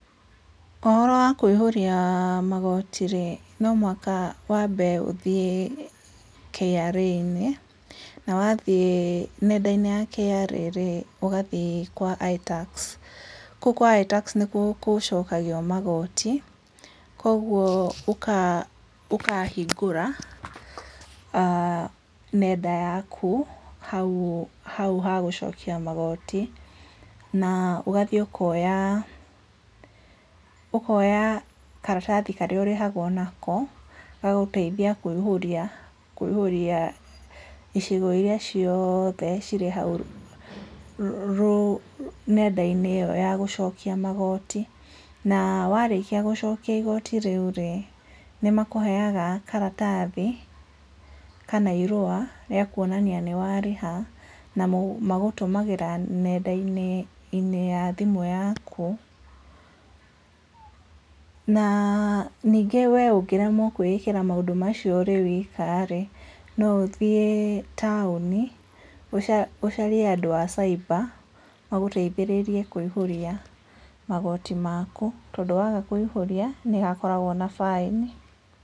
Uhoro wa kũihũrĩa magoti rĩ, no mũhaka wambe ũthiĩ KRA-inĩ. Na wathiĩ nenda-inĩ ya KRA rĩ, ũgathiĩ kwa I-Tax. Kũu kwa I-Tax nĩkuo gũcookagio magooti, kuoguo ũkaa ũkahingũra aa nenda yaku hau hau ha gũcookia magoti, na ũgathiĩ ũkoya-a, ũkoya karatathi karĩa ũrĩhagwo nako ga gũteithia kũihũria, kũihũria icigo-ini iria cioothe ciri hau rũ nenda-inĩ ĩyo ya gũcookia magooti. Na warĩkia gũcookia igoti rĩu rĩ, Nĩmakũheaga karatathi kana irũa rĩa kuonania ni waarĩha na magũtũmagĩra nendainĩ-inĩ ya thimũ yaaku. Naa niingĩ we ũngĩremwo kwĩĩkira maũndũ macio ũrĩ wiika-arĩ, no ũthie tauni ucarie handu ha cyber maguteithĩrĩrie kuihuria magoti maaku. Tondu waaga kũihũria, nĩ hakoragũo na baĩni.